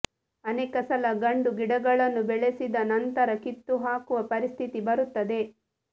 ಅನೇಕ ಸಲ ಗಂಡು ಗಿಡಗಳನ್ನು ಬೆಳೆಸಿದ ನಂತರ ಕಿತ್ತು ಹಾಕುವ ಪರಿಸ್ಥಿತಿ ಬರುತ್ತದೆ